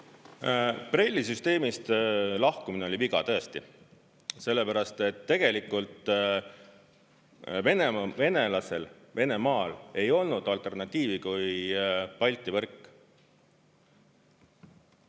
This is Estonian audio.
BRELL-i süsteemist lahkumine oli viga tõesti, sellepärast et tegelikult venelasel Venemaal ei olnud alternatiivi kui Balti võrk.